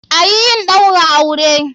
Ayi yin Ɗaura auren!